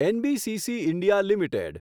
NBCC India limited